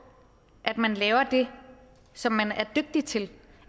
at man laver det som man er dygtig til